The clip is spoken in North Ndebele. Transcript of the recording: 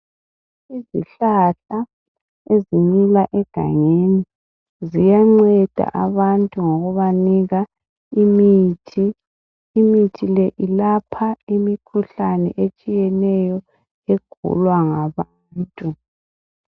Izihlahla ezimila egangeni ziyanceda abantu ngokubanika imithi. Imithi le ilapha imikhuhlane etshiyeneyo egulwa ngabantu.